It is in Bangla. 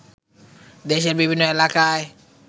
দেশের বিভিন্ন এলাকায়